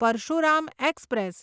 Parshuram express